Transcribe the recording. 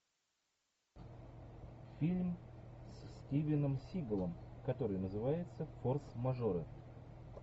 фильм с стивеном сигалом который называется форс мажоры